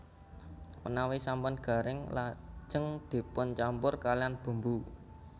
Menawi sampun garing lajen dipuncampur kaliyan bumbu